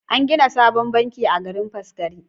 An gina sabon banki a garin Faskari.